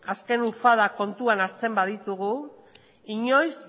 azken kontuan hartzen baditugu inoiz